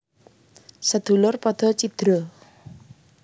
Sedulur padha cidra